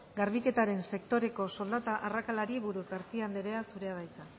garbiketaren sektoreko soldata arrakalari buruz garcía anderea zurea da hitza